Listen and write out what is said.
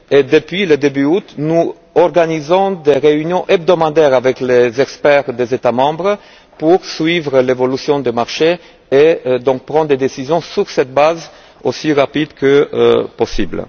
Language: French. Depuis le mois d'août, nous organisons des réunions hebdomadaires avec les experts des États membres afin de suivre l'évolution des marchés et de prendre des décisions sur cette base aussi rapidement que possible.